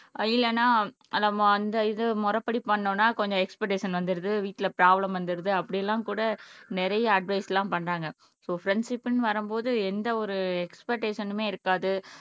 இல்லன்னா நம்ம அந்த இது முறைப்படி பண்ணனும்னா கொஞ்சம் எக்ஸ்பர்டேஷன் வந்துருது வீட்டிலஃப்ராப்ளம் வந்திருது அப்படியெல்லாம் கூட நிறைய அட்வைஸ் எல்லாம் பண்ணுறாங்க உசோ ஃப்ரண்ட்ஷிப்ன்னு வரும்போது எந்த ஒரு எக்ஸ்படேசனும்மே இருக்காது